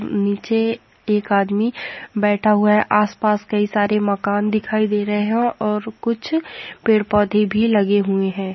नीचे के आदमी बैठ हुआ है आस-पास की सारे मकान दिखाई दे रहे है और कुछ पैड पौधे भी लगे हुए है।